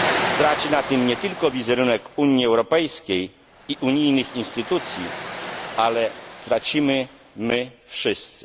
Straci na tym nie tylko wizerunek Unii Europejskiej i unijnych instytucji, ale stracimy my wszyscy.